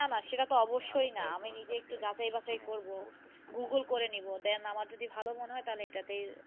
না না সেটা তো অবশই না আমি একটু যাচাই বাছাই করবো Googel করে নিবো দেন আমার যদি ভালো যদি মনে হয় তাহলে এটাতেই।